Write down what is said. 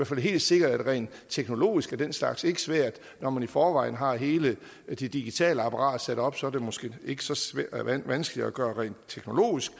fald helt sikkert at rent teknologisk er den slags ikke svært når man i forvejen har hele det digitale apparat sat op er det måske ikke så vanskeligt at gøre rent teknologisk